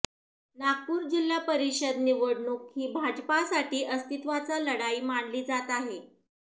नागपूर जिल्हा परिषद निवडणूक ही भाजपसाठी अस्तित्वाचा लढाई मानली जात होती